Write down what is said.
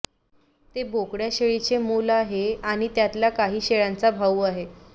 ते बोकड्या शेळीचे मुल आहे आणि त्यातल्या काही शेळ्यांचा भाऊ आहे